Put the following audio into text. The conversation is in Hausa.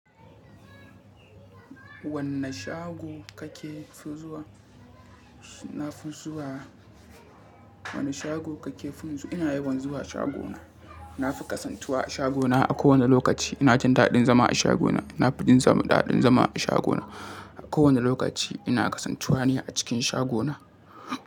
Wanne shago kake fi zuwa? Na fi zuwa, wanne shago kake fi zuwa? Ina yawan zuwa shagona. Na fi kasantuwa a shagona a kowane lokaci. Ina jin daɗin zama a shagona. Na fi jin daɗin zama a shagona a kowane lokaci. Ina kasantuwa ne a cikin shagona.